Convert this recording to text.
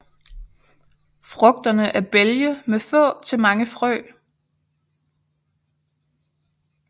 Frugterne er bælge med få til mange frø